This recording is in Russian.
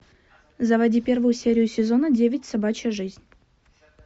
заводи первую серию сезона девять собачья жизнь